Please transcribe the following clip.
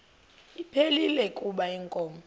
ephilile kuba inkomo